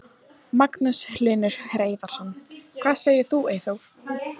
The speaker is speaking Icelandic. Magnús Hlynur Hreiðarsson: Hvað segir þú Eyþór?